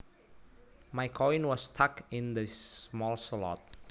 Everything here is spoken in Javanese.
My coin was stuck in this small slot